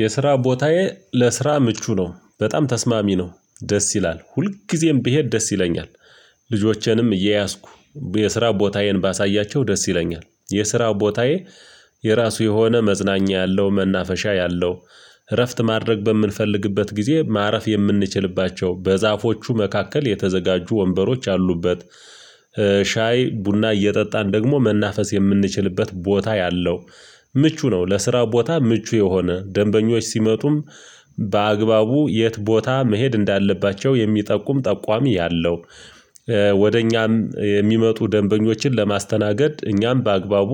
የስራ ቦታዬ ለስራ ምቹ ነው። በጣም ተስማሚ ነው። ደስ ይላል። ሁልጊዜም ብሄድ ደስ ይለኛል። ልጆቼንም እየያዝኩ የስራ ቦታዬን ባሳያቸው ደስ ይለኛል። የስራ ቦታዬ የራሱ የሆነ መዝናኛ ያለው መናፈሻ ያለው እረፍት ማድረግ በምንፈልግበት ጊዜ ማረፍ የምንችልባቸው በዛፎቹ መካከል የተዘጋጁ ወንበሮች አሉበት። ሻይ ቡና እየጠጣን ደግሞ መናፈስ የምንችልበት ቦታ ያለው ምቹ ነው። ለስራው ቦታ ምቹ የሆነ፤ ደንበኞች ሲመጡም በአግባቡ የት ቦታ መሄድ እንዳለባቸው የሚጠቁም ጠቋሚ ያለው፤ ወደ እኛም የሚመጡ ደንበኞችን ለማስተናገድ እኛም በአግባቡ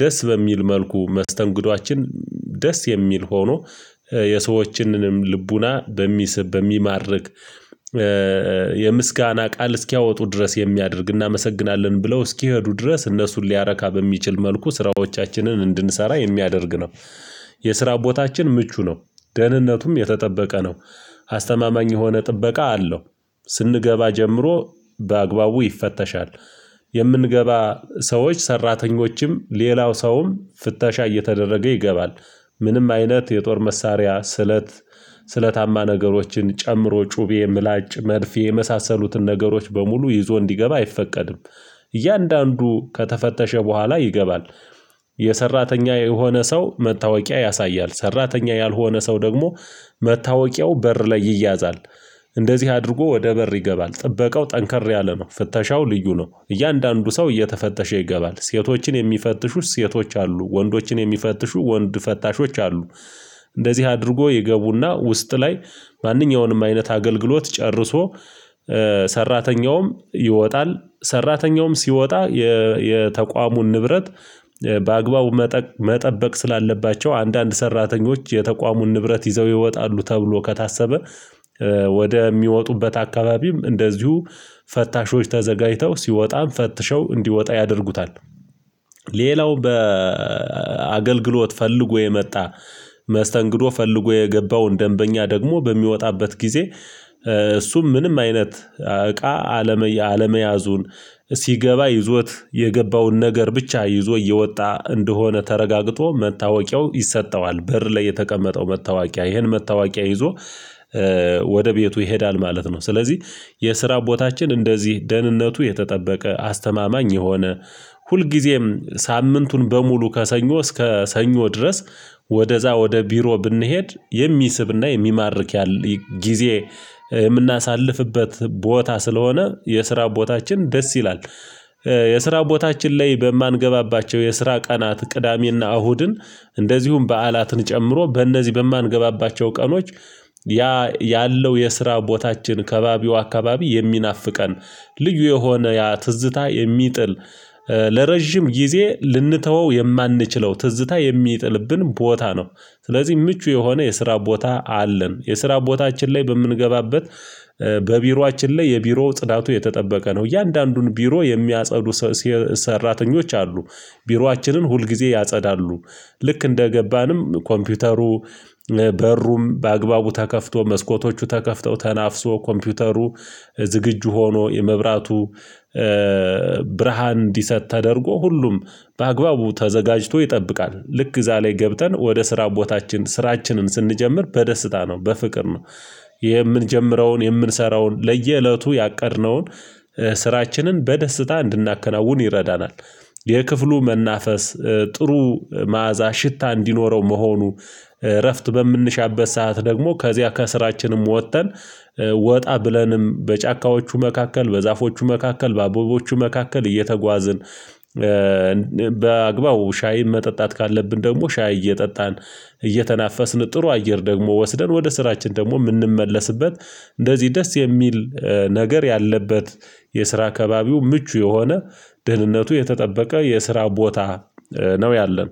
ደስ በሚል መልኩ መስተንግዶአችን ደስ የሚል ሆኖ የሰዎችንንም ልቡና በሚስብ በሚማርክ የምስጋና ቃል እስኪያወጡ ድረስ የሚያደርግ እናመሰግናለን ብለው እስኪሄዱ ድረስ እነሱን ሊያረካ በሚችል መልኩ ስራዎቻችንን እንድንሰራ የሚያደርግ ነው። የስራ ቦታችን ምቹ ነው። ደህንነቱም የተጠበቀ ነው። አስተማማኝ የሆነ ጥበቃ አለው። ስንገባ ጀምሮ በአግባቡ ይፈተሻል። የምንገባ ሰዎች ሰራተኞችም ሌላው ሰውም ፍተሻ እየተደረገ ይገባል። ምንም አይነት የጦር መሳሪያ ስለት ስለታማ ነገሮችን ጨምሮ ጩቤ ምላጭ መርፌ የመሳሰሉትን ነገሮች በሙሉ ይዞ እንዲገባ አይፈቀድም። እያንዳንዱ ከተፈተሸ በኋላ ይገባል። የሰራተኛ የሆነ ሰው መታወቂያ ያሳያል። ሰራተኛ ያልሆነ ሰው ደግሞ መታወቂያው በር ላይ ይያዛል። እንደዚህ አድርጎ ወደ በር ይገባል። ጥበቃው ጠንከር ያለ ነው። ፍተሻው ልዩ ነው። እያንዳንዱ ሰው እየተፈተሸ ይገባል። ሴቶችን የሚፈትሹት ሴቶች አሉ፤ ወንዶችን የሚፈትሹ ወንድ ፈታሾች አሉ። እንደዚህ አድርጎ ይገቡና ውስጥ ላይ ማንኛውንም አይነት አገልግሎት ጨርሶ ሰራተኛውም ይወጣል። ሰራተኛውም ሲወጣ የተቋሙን ንብረት በአግባቡ መጠበቅ ስላለባቸው አንዳንድ ሰራተኞች የተቋሙን ንብረት ይዘው ይወጣሉ ተብሎ ከታሰበ ወደ የሚወጡበት አካባቢም እንደዚሁ ፈታሾች ተዘጋጅተው ሲወጣም ፈትሸው እንዲወጣ ያደርጉታል። ሌላው በአገልግሎት ፈልጎ የመጣ መስተንግዶ ፈልጎ የገባውን ደንበኛ ደግሞ በሚወጣበት ጊዜ እሱም ምንም አይነት እቃ አለመያዙን ሲገባ ይዞት የገባውን ነገር ብቻ ይዞ እየወጣ እንደሆነ ተረጋግጦ መታወቂያው ይሰጠዋል። በር ላይ የተቀመጠው መታወቂያ፤ ይህን መታወቂያ ይዞ ወደ ቤቱ ይሄዳል ማለት ነው። ስለዚህ የስራ ቦታችን እንደዚህ ደህንነቱ የተጠበቀ አስተማማኝ የሆነ ሁልጊዜም ሳምንቱን በሙሉ ከሰኞ እስከ ሰኞ ድረስ ወደዛ ወደ ቢሮ ብንሄድ የሚስብና የሚማርክ ያለ ጊዜ የምናሳልፍበት ቦታ ስለሆነ የስራ ቦታችን ደስ ይላል። የስራ ቦታችን ላይ በማንገባባቸው የስራ ቀናት ቅዳሜና እሁድን እንደዚሁም በዓላትን ጨምሮ በእነዚህ በማንገባባቸው ቀኖች ያ ያለው የስራ ቦታችን ከባቢው አካባቢ የሚናፍቀን ልዩ የሆነ ያ ትዝታ የሚጥል ለረጅም ጊዜ ልንተወው የማንችለው ትዝታ የሚጥልብን ቦታ ነው። ስለዚህ ምቹ የሆነ የስራ ቦታ አለን። የስራ ቦታችን ላይ በምንገባበት በቢሮአችን ላይ የቢሮ ጽዳቱ የተጠበቀ ነው። እያንዳንዱን ቢሮ የሚያጸዱ ሰራተኞች አሉ። ቢሯችንን ሁልጊዜ ያጸዳሉ። ልክ እንደገባንም ኮምፒውተሩ በሩም በአግባቡ ተከፍቶ መስኮቶቹ ተከፍተው ተናፍሶ ኮምፒውተሩ ዝግጁ ሆኖ የመብራቱ ብርሃን እንዲሰጥ ተደርጎ ሁሉም በአግባቡ ተዘጋጅቶ ይጠብቃል። ልክ እዛ ላይ ገብተን ወደ ስራ ቦታችን ስራችንን ስንጀምር በደስታ ነው። በፍቅር ነው። የምንጀምረውን የምንሰራውን ለየእለቱ ያቀድነውን ስራችንን በደስታ እንድናከናውን ይረዳናል። የክፍሉ መናፈስ ጥሩ መዓዛ ሽታ እንዲኖረው መሆኑ እረፍት በምንሻበት ሰዓት ደግሞ ከዚያ ከስራችንም ወጥተን ወጣ ብለንም በጫካዎቹ መካከል በዛፎቹ መካከል በአቦቦቹ መካከል እየተጓዝን በአግባቡ ሻይን መጠጣት ካለብን ደግሞ ሻይ እየጠጣን እየተናፈስን ጥሩ አየር ደግሞ ወስደን ወደ ስራችን ደግሞ የምንመለስበት እንደዚህ ደስ የሚል ነገር ያለበት የስራ ከባቢው ምቹ የሆነ ድህነቱ የተጠበቀ የስራ ቦታ ነው ያለን።